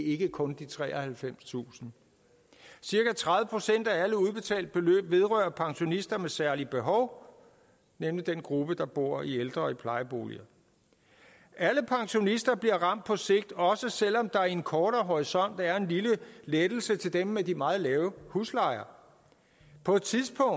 ikke kun de treoghalvfemstusind cirka tredive procent af alle udbetalte beløb vedrører pensionister med særlige behov nemlig den gruppe der bor i ældre og plejeboliger alle pensionister bliver ramt på sigt også selv om der på en kortere horisont er en lille lettelse til dem med de meget lave huslejer på et tidspunkt